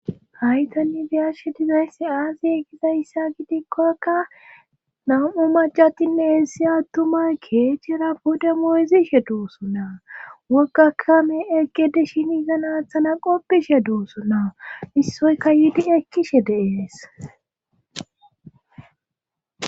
haytanni biyashe dizaysse aaziye gizayssa gidikkokka nam7u macatinne hessi attumay keechchira pode mooyzishe duusonna wogakame eqgede shini zanaathana qoppishe duusona issoyka yiidi ekkishe deees